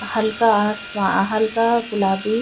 हल्का आसमा हल्का गुलाबी --